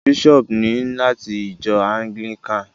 Bishop ni lati ìjọ anglikani.